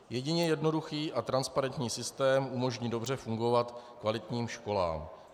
Jedině jednoduchý a transparentní systém umožní dobře fungovat kvalitním školám.